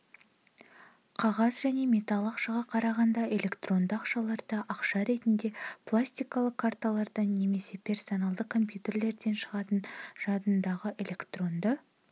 қағаз және металл ақшаға қарағанда элетронды ақшаларда ақша ретінде пластикалы карталардан немесе персоналды кампьютерлерден шығатын жадындағы электронды